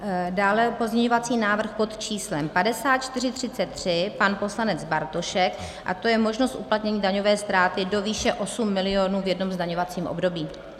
Dále pozměňovací návrh pod číslem 5433, pan poslanec Bartošek, a to je možnost uplatnění daňové ztráty do výše 8 milionů v jednom zdaňovacím období.